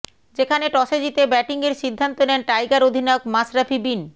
যেখানে টসে জিতে ব্যাটিংয়ের সিদ্ধান্ত নেন টাইগার অধিনায়ক মাশরাফি বিন